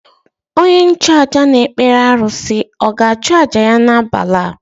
Onye nchụàjà na-ekpere arụsị ọ̀ ga-achụ àjà ya n’abalị a?